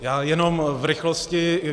Já jenom v rychlosti.